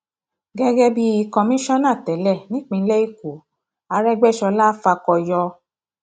gẹgẹ bíi kọmíṣánná tẹlẹ nípìnlẹ ẹkọ arógbéṣọlá fàkóyọ